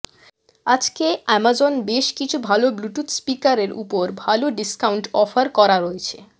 আজকে অ্যামাজনে বেশ কিছু ভাল ব্লুটুথ স্পিকারের ওপরে ভাল ডিস্কাউন্ট অফার করা হয়েছে